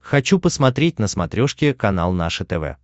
хочу посмотреть на смотрешке канал наше тв